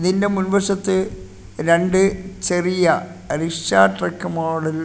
നിന്റെ മുൻവശത്ത് രണ്ട് ചെറിയ അരിഷാ ട്രക്ക് മോഡൽ --